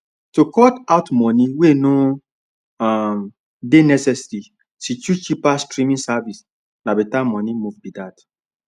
to cut out money wey no um dey necessary she choose cheaper streaming service na better money move be that